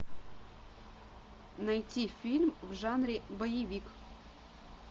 найти фильм в жанре боевик